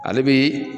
Ale bi